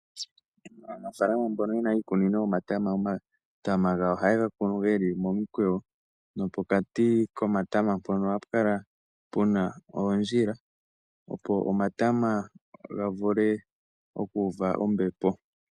Aanafalama mbono yena iikunino yomatama, omatama gawo ohayega kunu geli momi kweyo nopokati komatama mpono ohapu kala puna oondjila opo omatama ga vule oku uva ombepo.